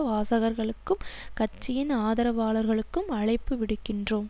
வாசகர்களுக்கும் கட்சியின் ஆதரவாளர்களுக்கும் அழைப்பு விடுக்கின்றோம்